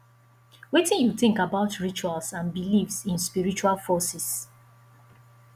wetin you think about rituals and beliefs in spiritual forces